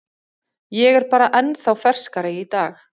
Ég er bara ennþá ferskari í dag.